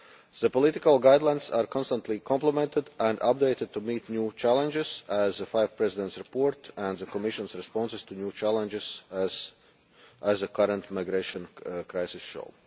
The political guidelines are constantly complemented and updated to meet new challenges as the Five Presidents' Report and the Commission's responses to new challenges, such as the current migration crisis, show.